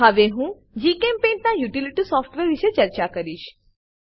હવે હું જીચેમ્પેઇન્ટ ના યુટીલીટી સોફ્ટવેર વિષે ચર્ચા કરીશ